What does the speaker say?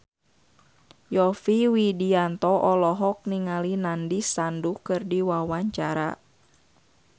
Yovie Widianto olohok ningali Nandish Sandhu keur diwawancara